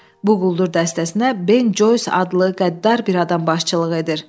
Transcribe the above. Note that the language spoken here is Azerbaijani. Bu quldur dəstəsinə Ben Joys adlı qəddar bir adam başçılıq edir.